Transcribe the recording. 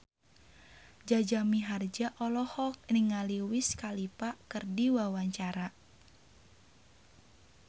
Jaja Mihardja olohok ningali Wiz Khalifa keur diwawancara